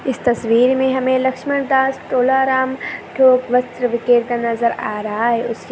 इस तस्वीर में हमे लक्ष्मणदास तोलाराम थोक वस्त्र विक्रेता नज़र आ रहा है उसके--